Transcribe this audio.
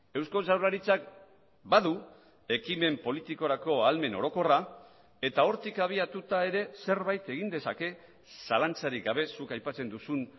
eusko jaurlaritzak badu ekimen politikorako ahalmen orokorra eta hortik abiatuta ere zerbait egin dezake zalantzarik gabe zuk aipatzen duzun